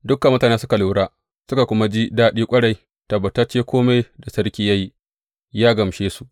Dukan mutane suka lura suka kuma ji daɗi ƙwarai, tabbatacce kome da sarki ya yi, ya gamshe su.